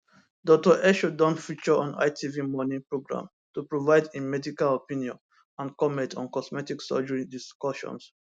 dr esho don feature don feature on itv morning programme to provide im medical opinion and comment on cosmetic surgery discussions